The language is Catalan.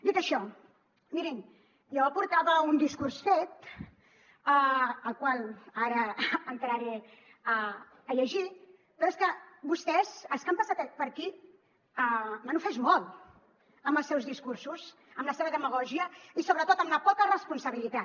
dit això mirin jo portava un discurs fet el qual ara entraré a llegir però és que vostès els que han passat per aquí m’han ofès molt amb els seus discursos amb la seva demagògia i sobretot amb la poca responsabilitat